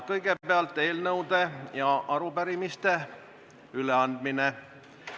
Kõigepealt eelnõude ja arupärimiste üleandmine.